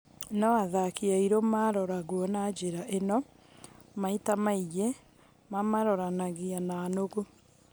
No athaki airu maarorwo na njĩra ĩno, maita maingĩ mamaroranagia na nũgũ.